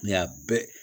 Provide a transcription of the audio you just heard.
N y'a bɛɛ